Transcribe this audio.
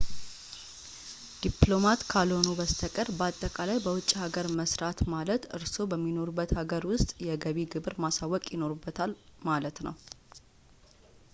ዲፕሎማት ካልሆኑ በስተቀር በአጠቃላይ በውጭ አገር መሥራት ማለት እርስዎ በሚኖሩበት ሀገር ውስጥ የገቢ ግብር ማሳወቅ ይኖርብዎታል ማለት ነው